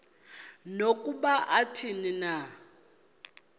nokuba athini na